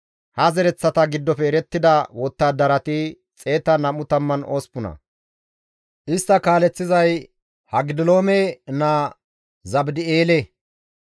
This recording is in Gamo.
Ha zereththata giddofe erettida wottadarati 128; istta kaaleththizay Hagidoleme naa Zabdi7eele.